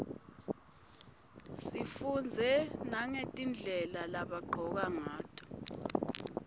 sifundze nagetindlela lebagcoka ngayo